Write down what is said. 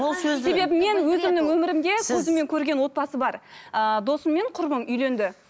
себебі мен өзімнің өмірімде көзіммен көрген отбасы бар ыыы досым мен құрбым үйленді